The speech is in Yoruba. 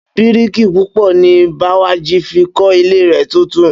Bíríìkì pupa ni Bẹ́wàjí fi kọ́ ilé rẹ̀ tuntun